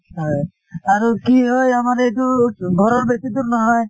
হয় কি হয় আমাৰ এইটো ঘৰৰ বেছি দূৰ নহয়